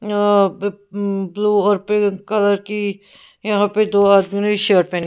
अ blue और pink colour की यहां पे दो आदमी शर्ट में--